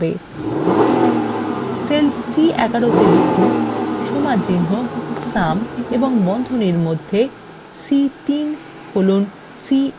cell c11 এ লিখুন সমানচিহ্ন sum এবং বন্ধনীর মধ্যে c3 colon c7